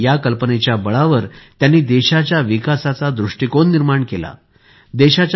या कल्पनेच्या बळावर त्यांनी देशाच्या विकासाचा दृष्टीकोन निर्माण केला होता